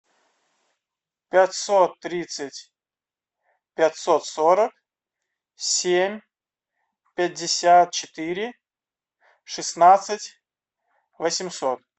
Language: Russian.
пятьсот тридцать пятьсот сорок семь пятьдесят четыре шестнадцать восемьсот